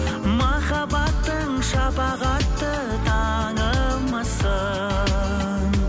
махаббатың шапағатты таңымбысың